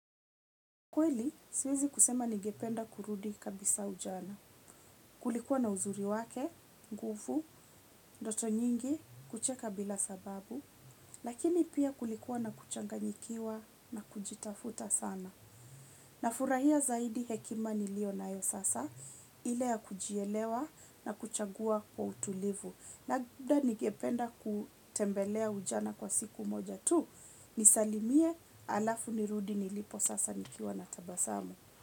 Kweli, siwezi kusema ningependa kurudi kabisa ujana. Kulikuwa na uzuri wake, ngufu, ndoto nyingi, kucheka bila sababu, lakini pia kulikuwa na kuchanganyikiwa na kujitafuta sana. Nafurahia zaidi hekima nilio nayo sasa, ile ya kujielewa na kuchagua kwa utulivu. Labda nigependa kutembelea ujana kwa siku moja tu, nisalimie alafu nirudi nilipo sasa nikiwa na tabasamu.